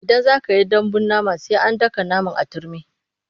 Idan za ka yi dambun nama sai an daka naman a turmi.